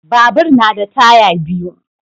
Babur na da taya biyu.